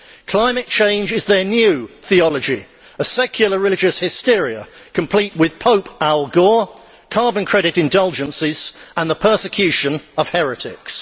Climate change is their new theology, a secular religious hysteria complete with Pope Al Gore carbon credit indulgences and the persecution of heretics.